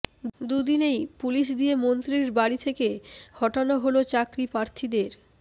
দুদিনেই পুলিশ দিয়ে মন্ত্রী বাড়ি থেকে হঠানো হল চাকরিপ্রার্থীদের